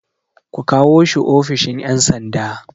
Ku kawo shi ofishin ƴan sanda